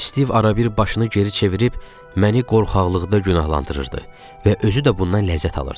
Stiv arabir başını geri çevirib məni qorxaqlıqda günahlandırırdı və özü də bundan ləzzət alırdı.